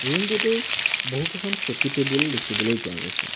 Room টোতেই বহুকেইখন চকী টেবুল দেখিবলৈ পোৱা গৈছে।